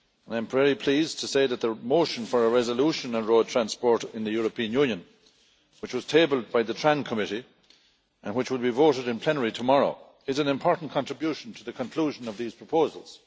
I am very pleased to say that the motion for a resolution on road transport in the European Union, which was tabled by the Committee on Transport and Tourism and which will be voted in plenary tomorrow, is an important contribution to the conclusion of these proposals.